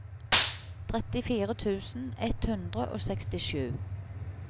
trettifire tusen ett hundre og sekstisju